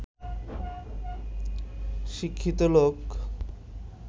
শিক্ষিত লোক